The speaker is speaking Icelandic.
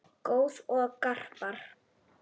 Goð og garpar